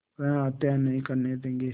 वह हत्या नहीं करने देंगे